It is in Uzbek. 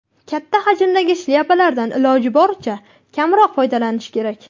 Katta hajmdagi shlyapalardan iloji boricha kamroq foydalanish kerak.